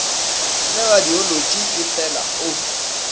le radiolotši e feela o